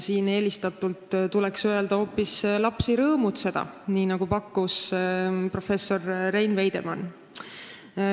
Siin tuleks eelistatult öelda hoopis "lapsi rõõmutseda", nii nagu on pakkunud professor Rein Veidemann.